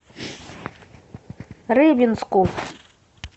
рыбинску